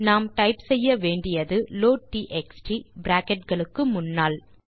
நாம் டைப் செய்ய வேண்டியது லோட்ட்எக்ஸ்ட் பிராக்கெட் களுக்கு முன்னால்